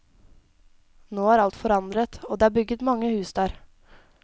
Nå er alt forandret, det er bygget mange hus der.